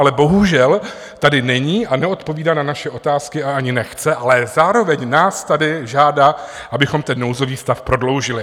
Ale bohužel tady není a neodpovídá na naše otázky, a ani nechce, ale zároveň nás tady žádá, abychom ten nouzový stav prodloužili.